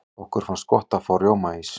okkur finnst gott að fá rjómaís